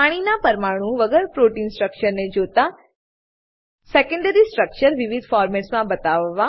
પાણીના પરમાણુ વગર પ્રોટીન સ્ટ્રક્ચરને જોતા સેકેન્ડરી સ્ટ્રક્ચર વિવિધ ફોર્મેટ્સમાં બતાવવા